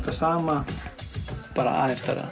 það sama bara aðeins stærra